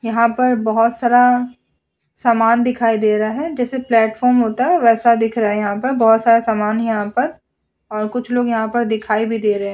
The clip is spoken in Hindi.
यहाँ पर बहोत सरा सामान दिखाई दे रहा है। जैसे प्लेटफॉर्म होता है वैसा दिख रहा है। यहा पर बहोत सारा समान यहाँ पर और कुछ लोग यहाँ पर दिखाई भी दे रहे हैं।